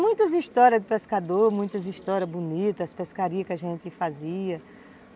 Muitas histórias de pescador, muitas histórias bonitas, as pescarias que a gente fazia.